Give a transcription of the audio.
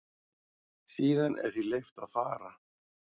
Síðan er því leyft að fara.